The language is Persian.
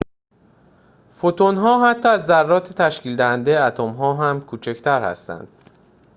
فوتون‌ها حتی از ذرات تشکیل‌دهنده اتم‌ها هم کوچکتر هستند